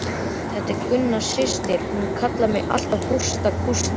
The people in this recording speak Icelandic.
Þetta var Gunna systir, hún kallar mig alltaf Gústa kústa.